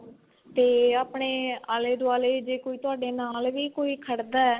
ਤੇ ਆਪਣੇ ਆਲੇ ਦੁਆਲੇ ਜੇ ਕੋਈ ਤੁਹਾਡੇ ਨਾਲ ਵੀ ਕੋਈ ਖੜਦਾ